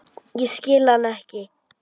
Ég skil hann ekki.